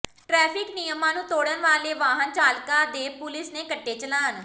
traffic ਨਿਯਮਾਂ ਨੂੰ ਤੋੜਨ ਵਾਲੇ ਵਾਹਨ ਚਾਲਕਾਂ ਦੇ ਪੁਲਿਸ ਨੇ ਕੱਟੇ ਚਲਾਨ